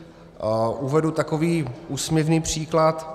Uvedu takový úsměvný příklad.